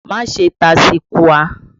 Má ṣe tasukúà!